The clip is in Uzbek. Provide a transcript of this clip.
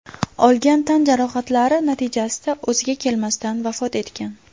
olgan tan jarohatlari natijasida o‘ziga kelmasdan vafot etgan.